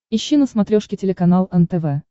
ищи на смотрешке телеканал нтв